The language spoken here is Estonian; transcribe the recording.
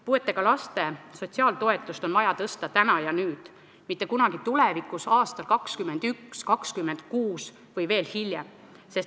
Puudega laste sotsiaaltoetust on vaja tõsta täna ja nüüd, mitte kunagi tulevikus, aastal 2021, 2026 või veel hiljem.